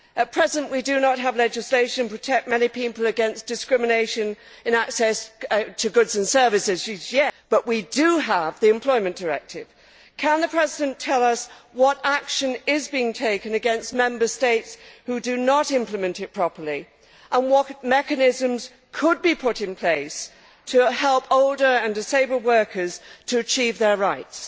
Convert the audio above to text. At present we do not yet have legislation to protect many people against discrimination in access to goods and services, but we do have the Employment Directive. Can you tell us what action is being taken against Member States who do not implement it properly, and what mechanisms could be put in place to help older and disabled workers to achieve their rights?